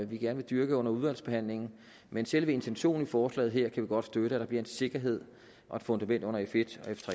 vi gerne vil dyrke under udvalgsbehandlingen men selve intentionen i forslaget her kan vi godt støtte nemlig at der bliver en sikkerhed og et fundament under f1